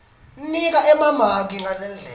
nika emamaki ngalendlela